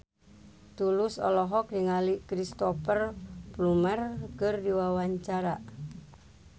Tulus olohok ningali Cristhoper Plumer keur diwawancara